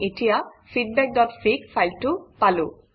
আমি এতিয়া feedbackফিগ ফাইলটো পালো